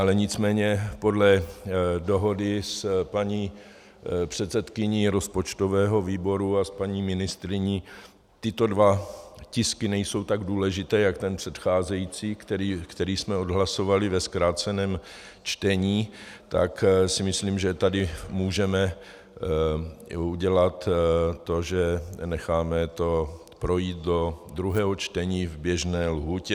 Ale nicméně podle dohody s paní předsedkyní rozpočtového výboru a s paní ministryní tyto dva tisky nejsou tak důležité jako ten předcházející, který jsme odhlasovali ve zkráceném čtení, tak si myslím, že tady můžeme udělat to, že necháme to projít do druhého čtení v běžné lhůtě.